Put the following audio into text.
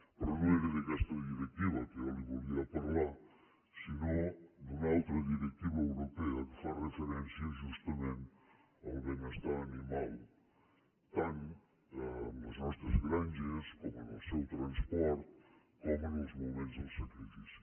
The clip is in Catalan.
però no era d’aquesta directiva que jo li volia parlar sinó d’una altra directiva europea que fa referència justament al benestar animal tant en les nostres granges com en el seu transport com en els moments del sacrifici